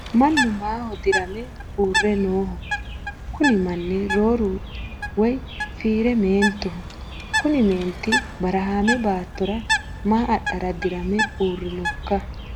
mannu maaho dirame uurre nooho? kuni manni rooru woyi fiire meentoho kuni meenti barahaame baattora maa adhara dirame uurrinokka ?